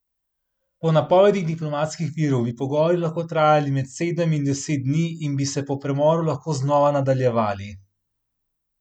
Po napovedih diplomatskih virov bi pogovori lahko trajali med sedem in deset dni in bi se po premoru lahko znova nadaljevali.